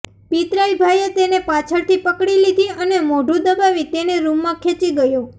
પિતરાઈ ભાઈએ તેને પાછળથી પકડી લીધી અને મોઢું દબાવી તેને રૂમમાં ખેંચી ગયો